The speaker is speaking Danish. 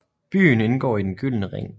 Byen indgår i Den Gyldne Ring